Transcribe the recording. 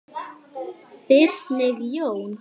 Birgir Jón.